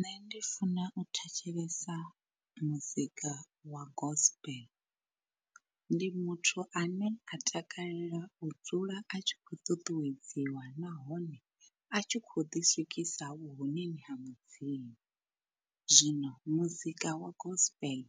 Nṋe ndi funa u thetshelesa muzika wa gospel, ndi muthu ane a takalela u dzula a tshi khou ṱuṱuwedziwa nahone a tshi khou ḓi swikisa vhuhoneni ha mudzimu. Zwino muzika wa gospel